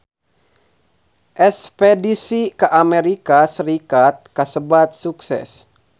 Espedisi ka Amerika Serikat kasebat sukses